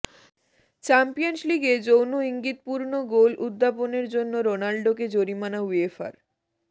champions লিগে যৌন ইঙ্গিতপূর্ণ গোল উদ্যাপনের জন্য রোনাল্ডোকে জরিমানা উয়েফার